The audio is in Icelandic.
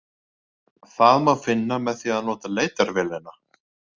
Það má finna með því að nota leitarvélina.